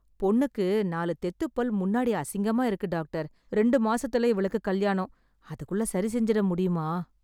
பொண்ணுக்கு நாலு தெத்துப்பல் முன்னாடி அசிங்கமா இருக்கு டாக்டர். ரெண்டு மாசத்துல இவளுக்கு கல்யாணம், அதுக்குள்ள சரிசெஞ்சிட முடியுமா?